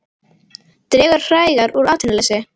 Dregur hægar úr atvinnuleysi